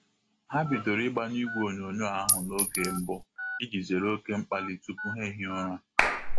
Ha bidoro ịgbanyụ igwe onyonyo ahụ n'oge mbụ iji zere oke mkpali tupu ha ehie ụra.